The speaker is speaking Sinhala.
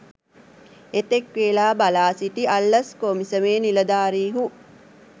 එතෙක් වේලා බලා සිටි අල්ලස් කොමිසමේ නිලධාරිහු